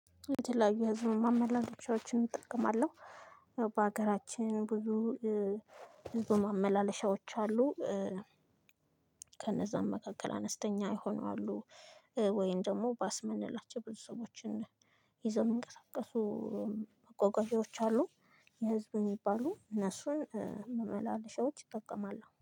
የተለያዩ የህዝብ ማመላለሻዎችን እጠቀማለሁ። በሀገራችን ብዙ ብዙ ማመላለሻዎች አሉ። ከነዛም መካከል አነስተኛ የሆኑ አሉ፣ ወይን ደግሞ ባስ ምንላቸው ብዙ ሰዎችን ይዘው የሚንቀሳቀሱ አቋቋሚዎች አሉ። የህዝብ የሚባሉ እነሱን መመላለሻዎች ይጠቀማለው።